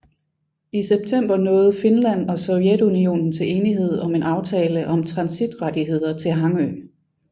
I september nåede Finland og Sovjetunionen til enighed om en aftale om transitrettigheder til Hangö